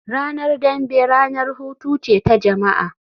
Ranar dambe ranar hutu ce ta jama'a